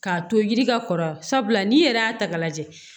K'a to yiri ka kɔrɔ sabula n'i yɛrɛ y'a ta k'a lajɛ